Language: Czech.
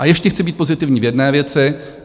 A ještě chci být pozitivní v jedné věci.